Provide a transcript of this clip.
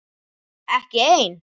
Ekki ein?